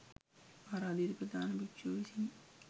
ආරාධිත ප්‍රධාන භික්‍ෂුව විසිනි.